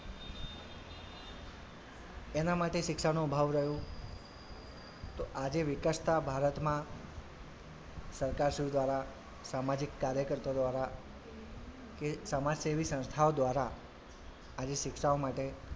એનાં માટે શિક્ષાનો અભાવ રહ્યો તો આજે વિકસતા ભારતમાં સરકાર શ્રી દ્વારા સામાજિક કાર્યકર્તાઓ દ્વારા કે સમાજસેવી સંસ્થાઓ દ્વારા આજે શિક્ષાઓ માટે,